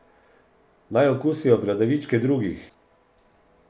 Naj okusijo bradavičke drugih.